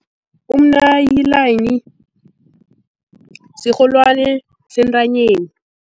Umnayilani sirholwani sentanyeni.